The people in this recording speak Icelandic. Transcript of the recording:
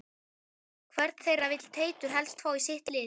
Hvern þeirra vill Teitur helst fá í sitt lið?